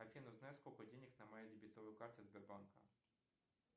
афина узнай сколько денег на моей дебетовой карте сбербанка